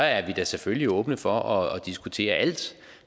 er vi da selvfølgelig åbne for at diskutere alt